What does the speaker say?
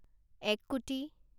এক কোটি